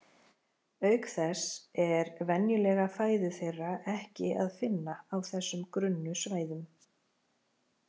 Auk þess er venjulega fæðu þeirra ekki að finna á þessum grunnu svæðum.